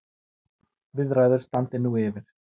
Viðræður standi nú yfir.